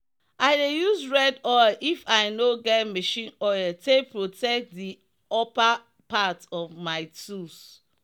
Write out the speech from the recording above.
i dey use red oil if i no get machine oil take protect the upper part of my tools.